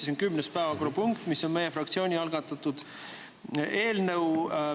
See on kümnes päevakorrapunkt, mis on meie fraktsiooni algatatud eelnõu.